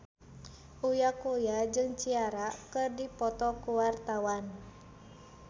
Uya Kuya jeung Ciara keur dipoto ku wartawan